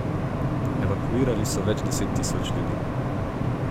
Evakuirali so več deset tisoč ljudi.